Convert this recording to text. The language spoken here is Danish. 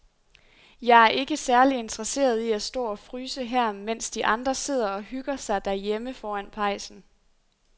Jeg er ikke særlig interesseret i at stå og fryse her, mens de andre sidder og hygger sig derhjemme foran pejsen.